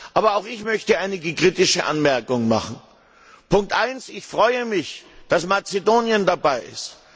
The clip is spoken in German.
Aber auch ich möchte einige kritische Anmerkungen machen Erstens freue ich mich, dass Mazedonien dabei ist.